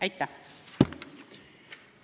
Aitäh!